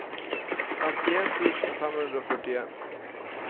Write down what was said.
femtien tusen fem hundre og førtien